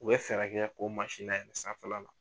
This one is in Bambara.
U bɛ fɛɛrɛ kɛ k'o mansin layɛlɛ sanfɛla la.